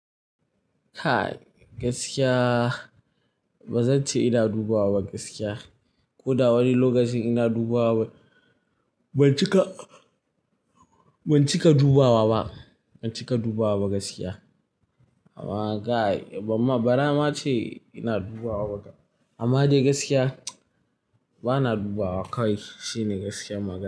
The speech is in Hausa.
Kai gaskiya, ba zan ce ina dubawa ba gaskiya. Ko da wani lokacin ina dubawa, ban cika, ban cika dubawa ba. Ban cika dubawa ba gaskiya. Amma guy baran ma ce ina dubawa ba kam amma dai gaskiya ba na dubawa kawai shine gaskiyar magana.